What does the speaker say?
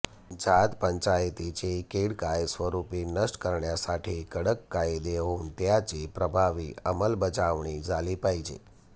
जात पंचायतीची कीड कायस्वरुपी नष्ट करण्यासाठी कडक कायदे होऊन त्याची प्रभावी अंमलबजावणी झाली पाहिजे